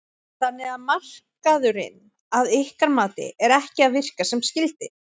Þannig að markaðurinn að ykkar mati er ekki að virka sem skyldi?